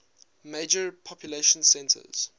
major population centers